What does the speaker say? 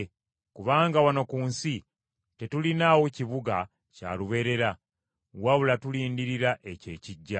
Kubanga wano ku nsi tetulinaawo kibuga kya lubeerera, wabula tulindirira ekyo ekijja.